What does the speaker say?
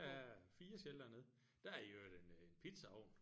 Der er 4 sheltere nede der er i øvrigt en en pizzaovn